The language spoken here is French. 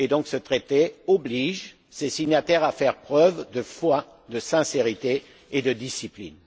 Ce traité oblige ses signataires à faire preuve de foi, de sincérité et de discipline.